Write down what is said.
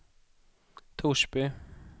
Torsby